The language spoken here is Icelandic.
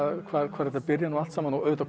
hvar hvar þetta byrjar allt saman og auðvitað